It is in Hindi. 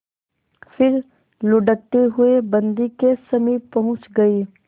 फिर लुढ़कते हुए बन्दी के समीप पहुंच गई